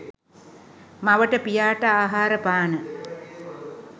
මවට පියාට ආහාර පාන,